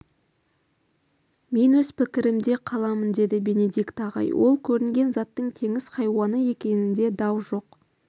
мен өз пікірімде қаламын деді бенедикт ағай ол көрінген заттың теңіз хайуаны екенінде дау жоқ